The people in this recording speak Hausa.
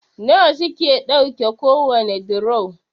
nawa suke ɗauke kowane duro?